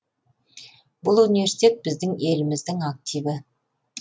бұл университет біздің еліміздің активі